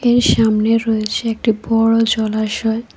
এর সামনে রয়েছে একটি বড় জলাশয়।